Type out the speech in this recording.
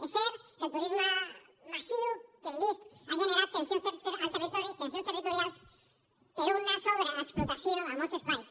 és cert que el turisme massiu que hem vist ha generat tensions al territori tensions territorials per una sobreexplotació a molts espais